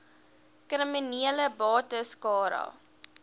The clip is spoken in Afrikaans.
kriminele bates cara